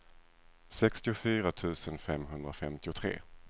sextiofyra tusen femhundrafemtiotre